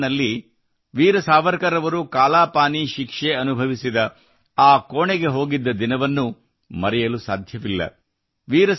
ನಾನು ಅಂಡಮಾನ್ ನಲ್ಲಿ ವೀರ್ ಸಾವರ್ಕರ್ ಅವರು ಕಾಲಾಪಾನಿ ಶಿಕ್ಷೆ ಅನುಭವಿಸಿದ ಆ ಕೋಣೆಗೆ ಹೋಗಿದ್ದ ದಿನವನ್ನು ನಾನು ಮರೆಯಲು ಸಾಧ್ಯವಿಲ್ಲ